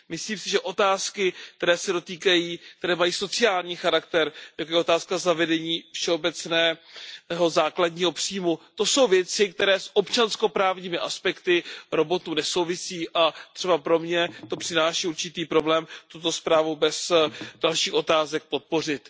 Myslím si, že otázky, které mají sociální charakter, jako je otázka zavedení všeobecného základního příjmu, to jsou věci, které s občansko právními aspekty robotů nesouvisí, a třeba pro mě to přináší určitý problém, zda zprávu bez dalších otázek podpořit.